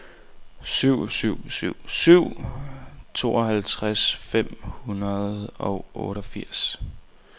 syv syv syv syv tooghalvtreds fem hundrede og fireogfirs